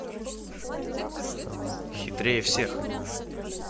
хитрее всех